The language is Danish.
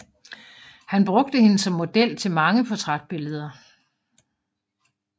Han brugte hende som model til mange portrætbilleder